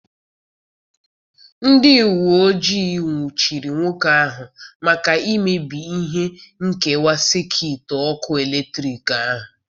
Ndị uwe ojii nwụchiri nwoke ahụ maka imebi ihe nkewa sekit ọkụ eletrik ahụ.